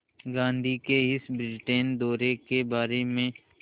गांधी के इस ब्रिटेन दौरे के बारे में